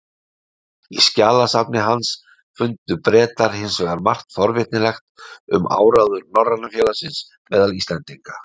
Í skjalasafni hans fundu Bretar hins vegar margt forvitnilegt um áróður Norræna félagsins meðal Íslendinga.